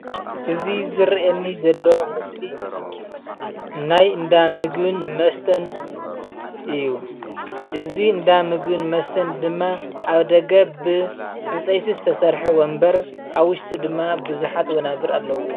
እዚ ዝርኣየኒ ዘሎ ምስሊ ናይ እንዳ ምግብን መስተን እዩ። እዚ እንዳ ምግብን መስተን ድማ ኣብ ደገ ብዕንፀይቲ ዝተሰርሐ ወንበር ኣብ ዉሽጢ ድማ ብዙሓት ወናብር ኣለዉዎ።